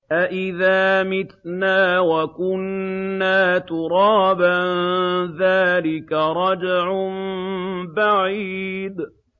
أَإِذَا مِتْنَا وَكُنَّا تُرَابًا ۖ ذَٰلِكَ رَجْعٌ بَعِيدٌ